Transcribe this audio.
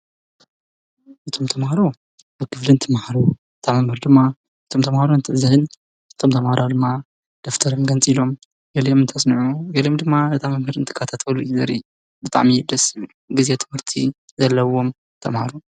እቶም ተምሃሮ በኽብልንቲ መሃሩ እታ ምህር ድማ እቶም ተምሃሮ እንተዝህን እቶም ተምሃራ ድማ ደፍተርም ገንጺ ኢሎም የልየም እንተስንዑ ገልም ድማ እጣ መምህር እንትቃታተውሉ ዘሪ በጣም ይደስብ ጊዜ ትምህርቲ ዘለዎም ተማሃሩ።